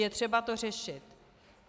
Je třeba to řešit.